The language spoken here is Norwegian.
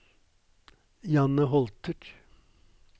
Janne Holter